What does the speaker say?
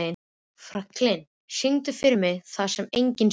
Franklin, syngdu fyrir mig „Það sem enginn sér“.